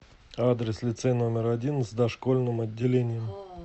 адрес лицей номер один с дошкольным отделением